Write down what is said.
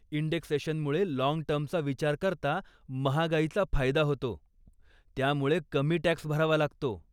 इंडेक्सेशनमुळे long टर्मचा विचार करता महागाईचा फायदा होतो, त्यामुळे कमी टॅक्स भरावा लागतो.